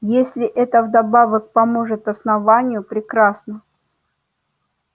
если это вдобавок поможет основанию прекрасно